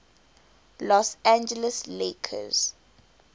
los angeles lakers